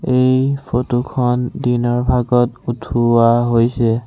এই ফটো খন দিনৰ ভাগত উঠোৱা হৈছে।